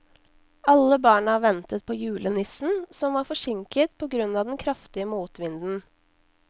Alle barna ventet på julenissen, som var forsinket på grunn av den kraftige motvinden.